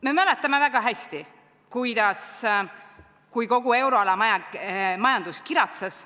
Me mäletame väga hästi, kui kogu euroala majandus kiratses.